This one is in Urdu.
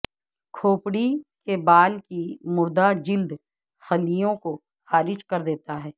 کھوپڑی کے بال کی مردہ جلد خلیوں کو خارج کر دیتا ہے